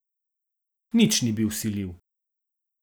Nič ni bil vsiljiv.